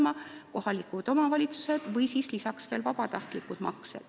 Finantseerida saab kohalike omavalitsuste eelarvest, lisaks võivad olla veel vabatahtlikud maksed.